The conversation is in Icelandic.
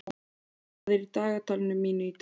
Ýlfa, hvað er í dagatalinu mínu í dag?